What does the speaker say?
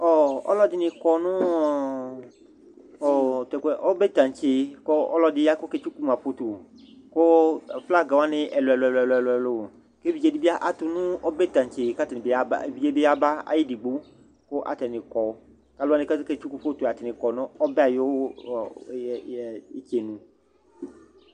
Ɔlu ɛdini kɔ nu ɔbɛtantse ku ɔlu ɛdi ya ku ɔketsuku maputu ku flaga wani ɛlu ɛlu ku evidze di bi atu nu ɔbɛ tantse ku evidze yaba ayu edigbo Ku atani kɔ Ku aluwani ku aketsuku atani kɔ nu ɔbɛ yɛ ayu itsenu